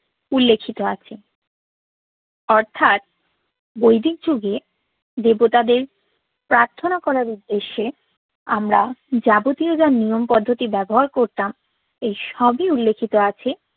উল্লেখিত আছে অর্থাৎ বৈদিক যুগে দেবতাদের পার্থনা করার উদ্দেশ্যে আমরা যাবতীয় যা নিয়ম পদ্ধতি ব্যবহার করতাম এই সবই উল্লেখিত আছে